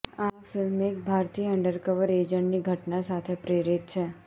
આ ફિલ્મ એક ભારતીય અંડરકવર એજન્ટની ઘટના સાથે પ્રેરિત છે